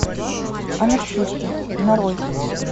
анархисты нарой